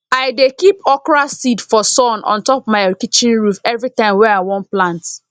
i dey keep okra seed for sun on top my kitchen roof every time wey i wan plant